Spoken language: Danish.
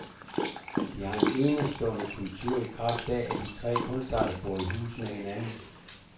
De har en enestående kultur i kraft af, at de tre kunstarter bor i hus med hinanden.